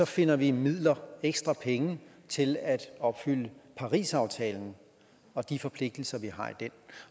finder vi midler ekstra penge til at opfylde parisaftalen og de forpligtelser vi har i den